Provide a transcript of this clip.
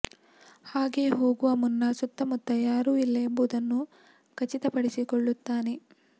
ಹಾಗೆ ಹೋಗುವ ಮುನ್ನ ಸುತ್ತಮುತ್ತ ಯಾರು ಇಲ್ಲ ಎಂಬುದನ್ನು ಖಚಿತ ಪಡಿಸಿಕೊಳ್ಳುತ್ತಾನೆ